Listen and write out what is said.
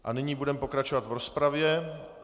A nyní budeme pokračovat v rozpravě.